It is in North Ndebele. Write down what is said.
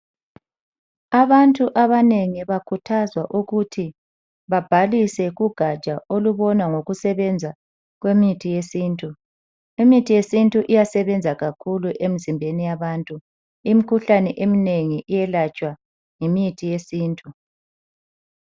Abantu abanengi bakhuthazwa ukuthi babhalise kugatsha olubona ngokusebenza kwemithi yesintu. Imithi yesintu iyasebenza kakhulu emzimbeni yabantu. Imkhuhlane eminengi iyelatshwa yimithi yesintu.